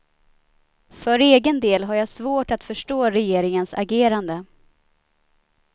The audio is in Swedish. För egen del har jag svårt att förstå regeringens agerande.